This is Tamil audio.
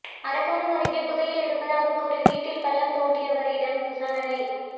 அரக்கோணம் அருகே புதையல் இருப்பதாக கூறி வீட்டில் பள்ளம் தோண்டியவரிடம் விசாரணை